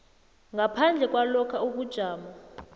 ngaphandle kwalokha ubujamo